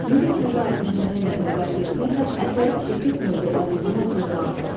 Lirik növə aid nümunə ilə müqayisə etməklə əsərin epik növdə olduğunu əsaslandırın.